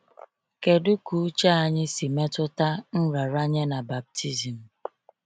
Kedu ka uche anyị si metụta nraranye na baptizim?